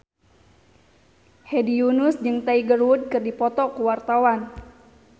Hedi Yunus jeung Tiger Wood keur dipoto ku wartawan